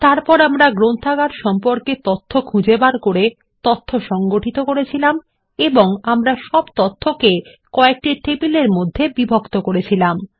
তারপর আমরা গ্রন্থাগার সম্পর্কে তথ্য খুঁজে বের করে সংগঠিত করেছিলাম এবং আমরা সব তথ্যকে কয়েকটি টেবিল এর মধ্যে বিভক্ত করেছিলাম